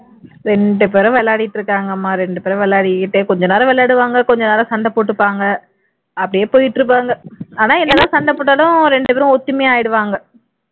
ரெண்டு பேரும் விளையாடிட்டு இருக்காங்கம்மா ரெண்டு பேரும் விளையாடிகிட்டே கொஞ்ச நேரம் விளையாடுவாங்க கொஞ்ச நேரம் சண்டை போட்டுப்பாங்க அப்படியே போயிட்டு இருப்பாங்க ஆனா என்ன தான் சண்டை போட்டாலும் ரெண்டு பேரும் ஒத்துமையா ஆயிடுவாங்க